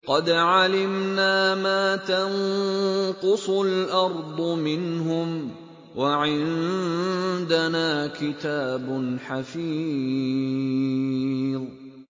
قَدْ عَلِمْنَا مَا تَنقُصُ الْأَرْضُ مِنْهُمْ ۖ وَعِندَنَا كِتَابٌ حَفِيظٌ